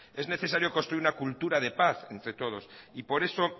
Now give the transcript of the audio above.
es necesario construir una cultura de paz entre todos y por eso